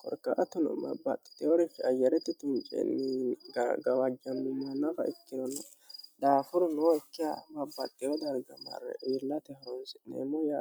korkaatunu mabbaxi teworifi ayaretti tunceenni gawaajjannuma nafa iktinonnni dhaafuru nookka mabaxiyo dargamarre wiillate holonsi'neemmo yae